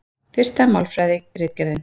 Fyrsta Málfræðiritgerðin.